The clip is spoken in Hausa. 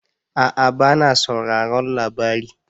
A'a ba na sauraron labari